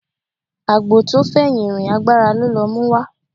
Àgbò tó fẹ̀yìn rìn agbára ló lọ múwá